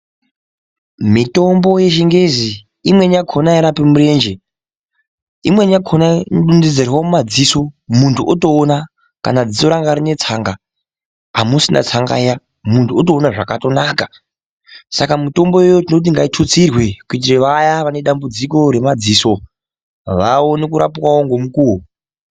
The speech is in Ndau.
Miyombo yechingezi imweni yakhona airapi murenje imweni yakhona inokone kudontedzerwe mumadziso muntu otoona kana dziso ranga rine tsanga amusisina tsanga iya muntu wotoone zvakatonaka saka mitombo iyoyo tinoti ngaitutsirwe kuitire kuti vaya vane dambudziko remadziso vaone kurapwawo ngemukuwo.